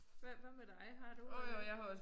Hvad hvad med dig har du en?